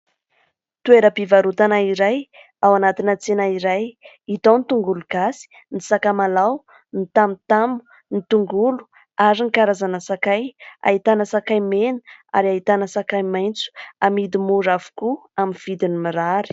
Toeram-pivarotana iray ao anatina tsena iray, hita ao ny tongolo gasy, ny sakamalao ny tamotamo, ny tongolo ary ny karazana sakay ; ahitana sakay mena ary ahitana sakay maitso. Amidy mora avokoa amin'ny vidiny mirary.